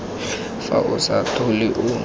fa o sa tlhole o